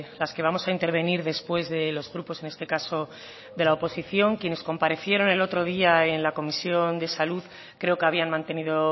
las que vamos a intervenir después de los grupos en este caso de la oposición quienes comparecieron el otro día en la comisión de salud creo que habían mantenido